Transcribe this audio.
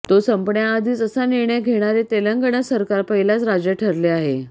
तो संपण्याआधीच असा निर्णय घेणारे तेलंगणा सरकार पहिलाच राज्य ठरले आहे